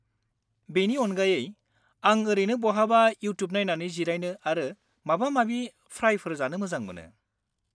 बेनि अनगायै, आं ओरैनो बहाबा इउट्युब नायनानै जिरायनो आरो माबा-माबि फ्राइफोर जानो मोजां मोनो।